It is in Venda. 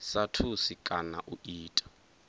sa thusi kana u ita